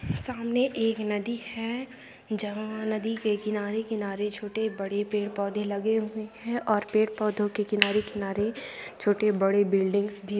सामने एक नदी है। जहाँ नदी के किनारे-किनारे छोटे बड़े पेड़ पौधे लगे हुए हैं और पेड़ पौधों के किनारे-किनारे छोटी बड़ी बिल्डिंग्स भी --